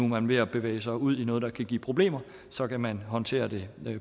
man ved at bevæge sig ud i noget der kan give problemer så kan man håndtere det